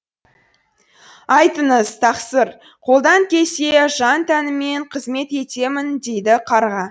айтыңыз тақсыр қолдан келсе жан тәніммен қызмет етемін дейді қарға